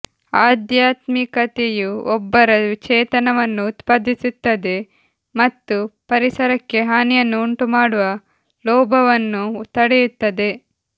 ಆಧ್ಯಾತ್ಮಿಕತೆಯು ಒಬ್ಬರ ಚೇತನವನ್ನು ಉತ್ಪಾದಿಸುತ್ತದೆ ಮತ್ತು ಪರಿಸರಕ್ಕೆ ಹಾನಿಯನ್ನು ಉಂಟು ಮಾಡುವ ಲೋಭವನ್ನು ತಡೆಯುತ್ತದೆ